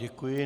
Děkuji.